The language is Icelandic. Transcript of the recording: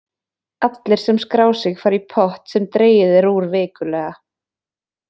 Allir sem skrá sig fara í pott sem dregið er úr vikulega.